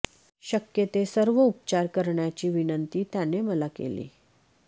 शक्य ते सर्व उपचार करण्याची विनंती त्याने मला केली